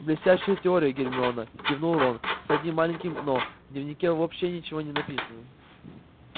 блестящая теория гермиона кивнул рон с одним маленьким но в дневнике вообще ничего не написано